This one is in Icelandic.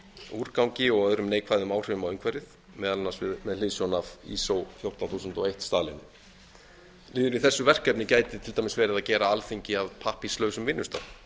úrgangi og öðrum neikvæðum áhrifum á umhverfið meðal annars með hliðsjón hundrað fjörutíu þúsund og einn staðlinum liður í þessu verkefni gæti til dæmis verið að gera alþingi að pappírslausum vinnustað